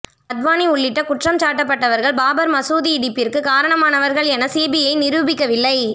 அத்வானி உள்ளிட்ட குற்றம் சாட்டப்பட்டவர்கள் பாபர் மசூதி இடிப்பிற்கு காரணமானவர்கள் என சிபிஐ நிரூபிக்கவில்லை